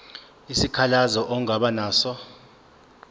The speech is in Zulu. isikhalazo ongaba naso